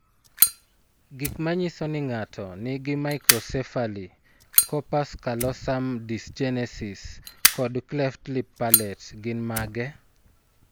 Gik manyiso ni ng'ato nigi Microcephaly, corpus callosum dysgenesis, kod cleft lip palate gin mage?